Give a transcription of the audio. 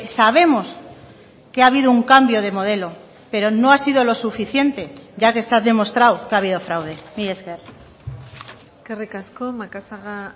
sabemos que ha habido un cambio de modelo pero no ha sido lo suficiente ya que está demostrado que ha habido fraude mila esker eskerrik asko macazaga